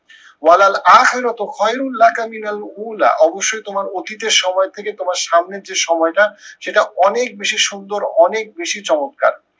অবশ্যই তোমার অতীতের সময় থেকে তোমার সামনের যে সময়টা সেটা অনেক বেশি সুন্দর অনেক বেশি চমৎকার।